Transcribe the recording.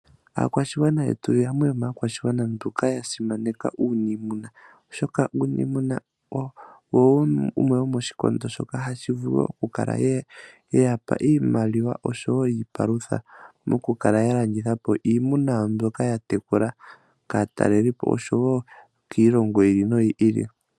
Aakwashigwana yetu yamwe yomaakwashigwana mboka ya simaneka uuniimuna, oshoka uuniimuna owo wumwe womoshikondo shoka hashi vulu ya kale ye ya pa iimaliwa oshowo iipalutha mokukala ya landitha po iimuna yawo mbyoka ya tekula kaatalelipo oshowo kiilongo yi ili noyi ili.